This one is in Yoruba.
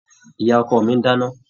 Ìyá ọkọ mi ń dáná.